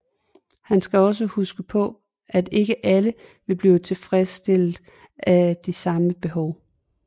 Han skal også huske på at ikke alle vil blive tilfredsstillet af de samme behov